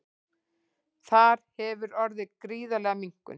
Þar hefur orðið gríðarleg minnkun